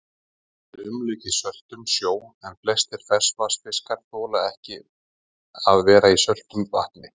Landið er umlukið söltum sjó, en flestir ferskvatnsfiskar þola ekki að vera í söltu vatni.